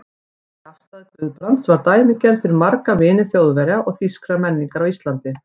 Þessi afstaða Guðbrands var dæmigerð fyrir marga vini Þjóðverja og þýskrar menningar á Íslandi.